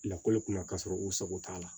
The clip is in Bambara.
Lakɔli kun ma k'a sɔrɔ u sago t'a la